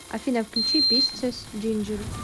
афина включи писцес джинджер